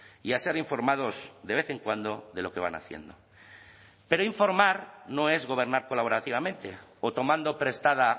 y a ser informados de vez en cuando de lo que van haciendo pero informar no es gobernar colaborativamente o tomando prestada